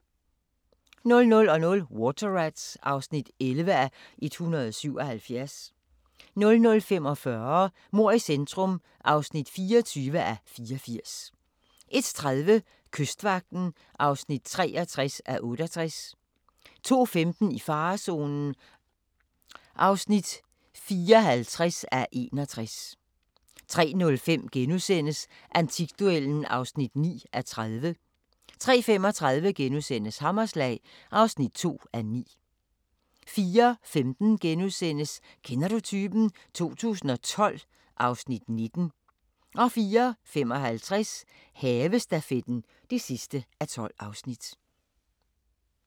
00:00: Water Rats (11:177) 00:45: Mord i centrum (24:84) 01:30: Kystvagten (63:68) 02:15: I farezonen (54:61) 03:05: Antikduellen (9:30)* 03:35: Hammerslag (2:9)* 04:15: Kender du typen? 2012 (Afs. 19)* 04:55: Havestafetten (12:12)